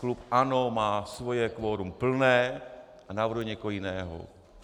Klub ANO má svoje kvorum plné a navrhuje někoho jiného.